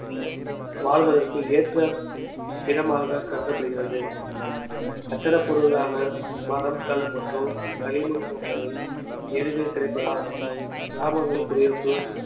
வாழ்வதற்கு ஏற்ற இடமாக கருதப்படுகிறது கட்டட பொருளான மரம் கல் மற்றும் களிமண் போன்றவை எளிதில் கிடைப்பதால் கிராமங்களில் குடியிருப்பு